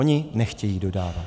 Oni nechtějí dodávat.